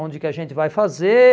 Onde que a gente vai fazer?